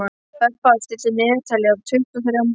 Bebba, stilltu niðurteljara á tuttugu og þrjár mínútur.